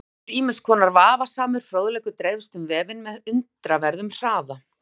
Þannig getur ýmiss konar vafasamur fróðleikur dreifst um vefinn með undraverðum hraða.